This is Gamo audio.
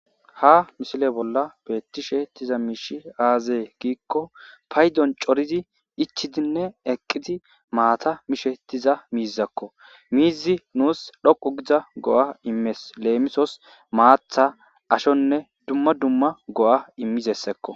Ha mishile bolla beettishe hettiza miishi aazee giikko paydon corizi ichidinne eqqidi maata mishe ettiza miizakko miizi nuus dhoqu giza go'a immees leemisos maatha ashonne dumma dumma go"a immizessekko.